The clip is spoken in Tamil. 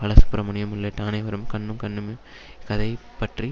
பாலசுப்ரமணியம் உள்ளிட்ட அனைவருமே கண்ணும் கண்ணும் கதை பற்றி